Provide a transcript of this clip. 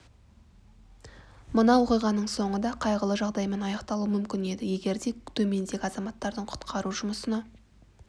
мына оқиғаның соңы да қайғылы жағдаймен аяқталуы мүмкін еді егер де төмендегі азаматтардың құтқару жұмысына